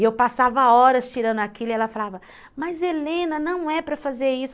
E eu passava horas tirando aquilo e ela falava, mas Helena, não é para fazer isso.